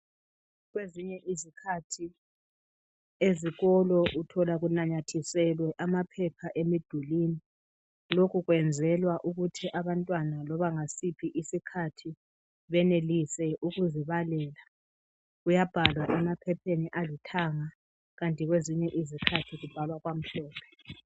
Kwezinye izikhathi ezikolo uthola kunanyathiselwe amaphepha emidulini lokhu kwenzelwa ukuthi abantwana loba ngasiphi isikhathi benelise ukuzibalela kuyabhalwa emaphepheni alithanga kanti kwezinye izikhathi kubhalwa kwamhlophe